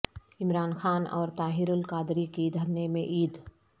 عمران خان اور طاہر القادری کی دھرنے میں عید